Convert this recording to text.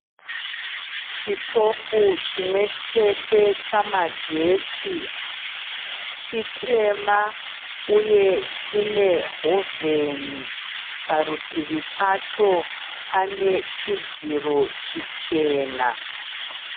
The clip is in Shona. Chitofu chimwechete chamagetsi ,chitema uye chine hovhoni. Parutivi pacho panechidziro chichena